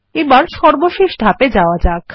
এখন সর্বশেষ ধাপে যাওয়া যাক